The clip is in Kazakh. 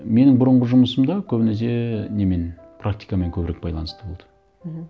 менің бұрынғы жұмысымда көбінесе немен практикамен көбірек байланысты болды мхм